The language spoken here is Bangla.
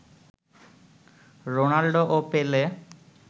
রোনাল্ডো ও পেলে